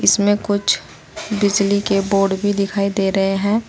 इसमें कुछ बिजली के बोर्ड भी दिखाई दे रहे हैं।